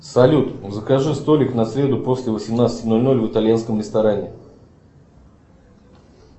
салют закажи столик на среду после восемнадцати ноль ноль в итальянском ресторане